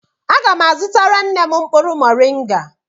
Aga m azutara nne m mkpụrụ moringa.